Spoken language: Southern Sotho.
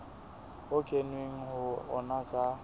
ho kenweng ho ona ka